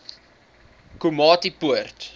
komatipoort